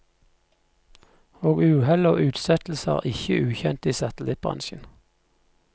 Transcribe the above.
Og uhell og utsettelser er ikke ukjent i satellittbransjen.